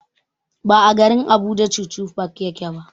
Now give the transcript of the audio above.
Ba a garin Abuja chuchu park yake ba.